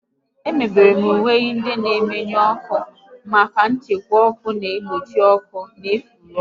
Emebere uwe ndị na-emenụ ọkụ maka nchekwa n'ìgbochi ọkụ na ufuru ọkụ